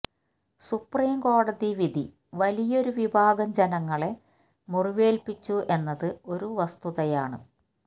സുപ്രീംകോടതി വിധി വലിയൊരു വിഭാഗം ജനങ്ങളെ മുറിവേല്പിച്ചു എന്നത് ഒരു വസ്തതയാണ്